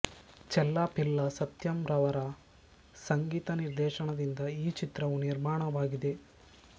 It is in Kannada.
ಚೆಲ್ಲಾಪಿಲ್ಲ ಸತ್ಯಂ ರವರ ಸಂಗೀತ ನಿರ್ದೇಶನದಿಂದ ಈ ಚಿತ್ರವು ನಿರ್ಮಾಣವಾಗಿದೆ